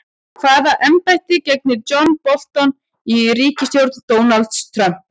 Hvaða embætti gegnir John Bolton í ríkisstjórn Donalds Trump?